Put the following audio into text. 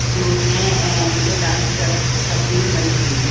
जो उसमे अं मतलब डांस कर करती हुई बनी है।